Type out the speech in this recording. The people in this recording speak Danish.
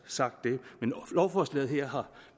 sagt det men lovforslaget her har